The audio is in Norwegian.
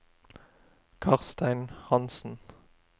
Karstein Hanssen